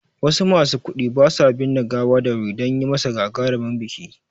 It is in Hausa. Wasu masu kuɗi basu binne gawa da wuri dan yimasa gagarumin biki